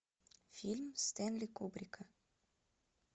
фильм стенли кубрика